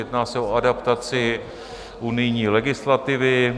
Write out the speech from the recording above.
Jedná se o adaptaci unijní legislativy.